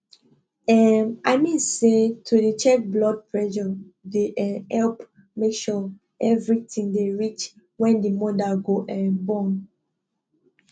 emm i mean say to dey check blood presure dey um epp make sure evri tin dey reach wen d moda go um born